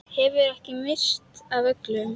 Hefurðu ekki minnst af öllum?